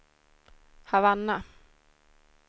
Havanna